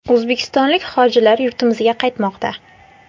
O‘zbekistonlik hojilar yurtimizga qaytmoqda.